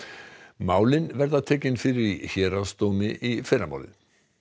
málin verða tekin fyrir í héraðsdómi í fyrramálið